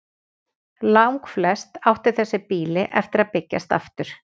Langflest áttu þessi býli eftir að byggjast aftur.